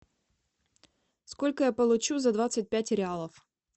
сколько я получу за двадцать пять реалов